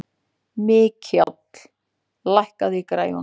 Mikjáll, lækkaðu í græjunum.